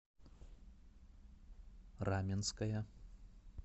раменское